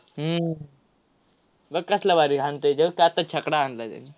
हम्म बघ कसला भारी हाणतोय. छकडा हाणलाय त्याने.